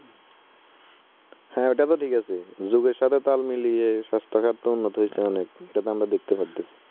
হে ঐটা তো ঠিক আছে। যুগ এর সাথে তাল মিলিয়ে স্বাস্থ্য খাত উন্নত হইসে অনেক। এটা তো আমরা দেখতে পাইতেছি।